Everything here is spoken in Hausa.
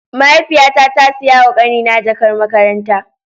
Mahaifiya ta, ta Siya ma kani na jakan makaranta.